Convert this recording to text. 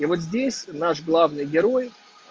и вот здесь наш главный герой